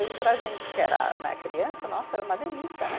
E para a gente que era né, criança, nossa, era uma delícia, né?